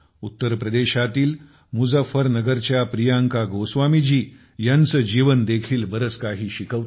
उत्तर प्रदेशातील मुजफ्फरनगरच्या प्रियंका गोस्वामीजी ह्यांचे जीवन देखील बरेच काही शिकवते